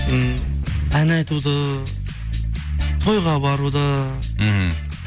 м ән айтуды тойға баруды мхм